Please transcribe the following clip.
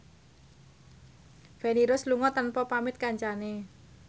Feni Rose lunga tanpa pamit kancane